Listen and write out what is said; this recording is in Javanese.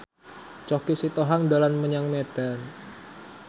Choky Sitohang dolan menyang Medan